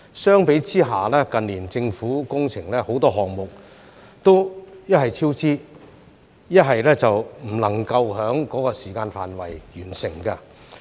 相比之下，近年政府工程很多項目一是超支，一是不能夠在預計時間內完成。